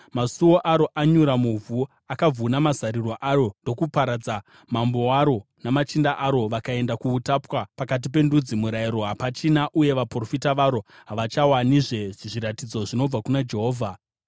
Masuo aro anyura muvhu, akavhuna mazariro aro ndokuaparadza. Mambo waro namachinda aro vakaenda kuutapwa pakati pendudzi, murayiro hapachina, uye vaprofita varo havachawanizve zviratidzo zvinobva kuna Jehovha.